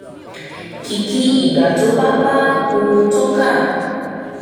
kìkì ìgbà tó bá bá ohun tó kà